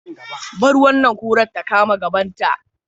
Bar wannan kurar ta kama gabanta.